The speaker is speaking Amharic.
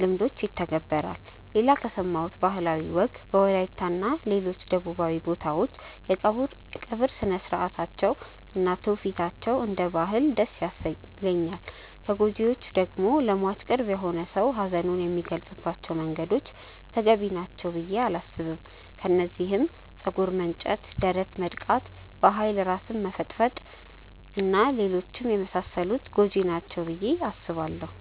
ልምዶች ይተገበራል። ሌላ ከሰማሁት ባህላዊ ወግ በወላይታ እና ሌሎች ደቡባዊ ቦታዎች የቀብር ስርአታቸው እና ትውፊታቸው እንደ አንድ ባህል ደስ ይለኛል። ከጎጂዎቹ ደግሞ ለሟች ቅርብ የሆነ ሰው ሀዘኑን የሚገልፀባቸው መንገዶች ተገቢ ናቸው ብዬ አላስብም። ከነዚህም ፀጉር መንጨት፣ ደረት መድቃት፣ በኃይል ራስን መፈጥፈጥ እና ሌሎችም የመሳሰሉት ጎጂ ናቸው ብዬ አስባለው።